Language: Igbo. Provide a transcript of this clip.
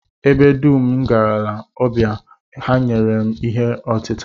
Ebe dum m garala ọbịa, ha nyere m nri ọtịta